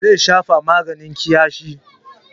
Zai shafa maganin ƙyasfi.